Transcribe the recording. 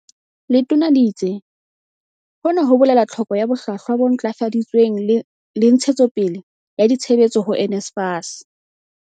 Letona le itse, "Hona ho bolela tlhoko ya bohlwahlwa bo ntlafaditsweng le ntshe tsopele ya ditshebetso ho NSFAS."